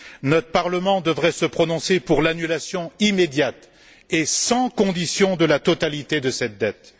Notre Parlement devrait se prononcer pour l'annulation immédiate et sans conditions de la totalité de cette dette.